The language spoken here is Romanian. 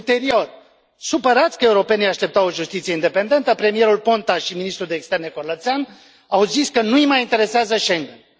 Ulterior, supărați că europenii așteptau o justiție independentă, premierul Ponta și ministru de externe Corlățean au zis că nu i mai interesează Schengen ul.